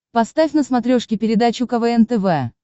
поставь на смотрешке передачу квн тв